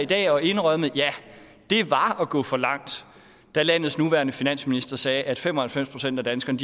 i dag og indrømmet ja det var at gå for langt da landets nuværende finansminister sagde at fem og halvfems procent af danskerne